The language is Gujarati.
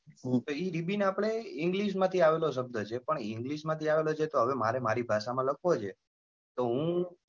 તો એ ribon આપણે english માંથી આવેલો શબ્દ છે પણ english માંથી આવેલો છે તો હવે મારે મારી ભાષા માં લખવો જ છે તો હું,